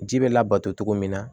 Ji bɛ labato cogo min na